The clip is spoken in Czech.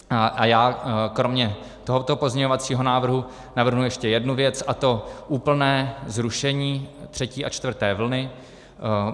A já kromě tohoto pozměňovacího návrhu navrhnu ještě jednu věc, a to úplné zrušení třetí a čtvrté vlny.